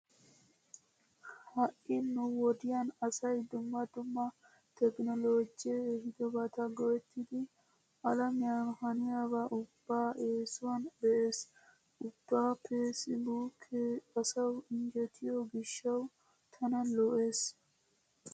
Ha"i nu wodiyan asay dumma dumma tekinooloojjee ehidobata go'ettidi alamiyan haniyaba ubbaa eesuwan be'ees. Ubba peesibuukkee asawu injjetiyo gishshawu tana lo'ees.